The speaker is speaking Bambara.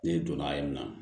Ne donna yen nɔ